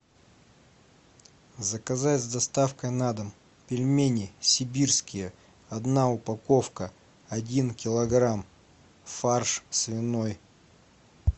заказать с доставкой на дом пельмени сибирские одна упаковка один килограмм фарш свиной